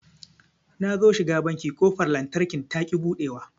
Nazo shiga banki ƙofar lantarkin taƙi buɗewa